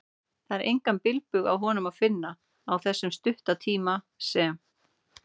Það var engan bilbug á honum að finna, á þessum stutta tíma sem